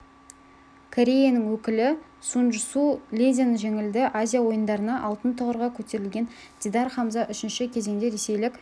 кореяның өкілі сунджсу лиден жеңілді азия ойындарында алтын тұғырға көтерілген дидар хамза үшінші кезеңде ресейлік